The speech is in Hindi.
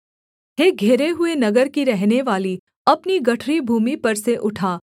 हे घेरे हुए नगर की रहनेवाली अपनी गठरी भूमि पर से उठा